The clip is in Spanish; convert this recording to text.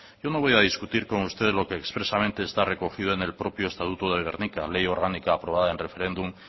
yo no voy a discutir con usted lo que expresamente está recogido en el propio estatuto de gernika ley orgánica aprobada en referéndum